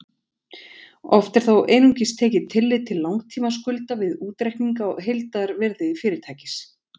Oft er þó einungis tekið tillit til langtímaskulda við útreikning á heildarvirði fyrirtækis.